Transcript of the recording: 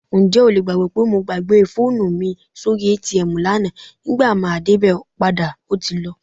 Ǹjẹ́ o lè gbàgbọ́ pé mo gbàgbé fóònù mi sórí ATM lánàá, nígbà máa débẹ̀ padà ó ti lọ?